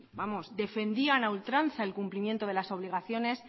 defendían a ultranza el cumplimiento de las obligaciones